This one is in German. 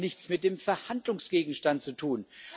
Aber das hat nichts mit dem Verhandlungsgegenstand zu tun.